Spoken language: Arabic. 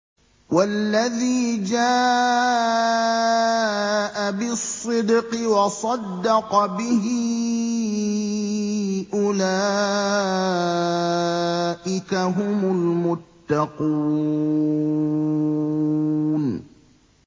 وَالَّذِي جَاءَ بِالصِّدْقِ وَصَدَّقَ بِهِ ۙ أُولَٰئِكَ هُمُ الْمُتَّقُونَ